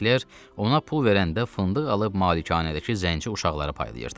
Senkler ona pul verəndə fındıq alıb malikanədəki zəngin uşaqları paylayırdı.